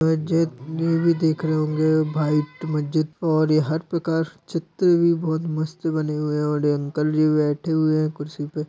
देख रहे होंगे भाईट मस्जिद और ये हर प्रकार चित्र भी बोहोत मस्त बने हुए हैं और ये अंकल भी बैठे हुए हैं कुर्सी पे ।--